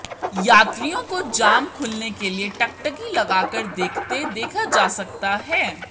यात्रियों को जाम खुलने के लिए टकटकी लगाकर देखते देखा जा सकता है